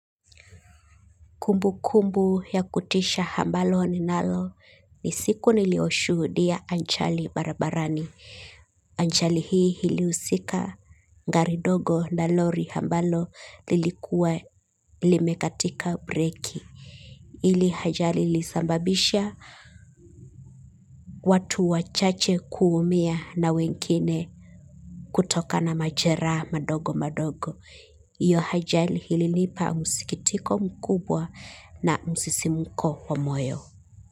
Kumbu kumbu ya kutisha hambalo ni nalo ni siku nilioshuhudia anchali barabarani. Ajali hii ilihusika gari ndogo na lori ambalo lilikua limekatika breki. Ili hajali lisambabisha watu wachache kuumia na wengine kutoka na majera madogo madogo. Iyo hajali hilinipa musikitiko mkubwa na musisimuko wa moyo.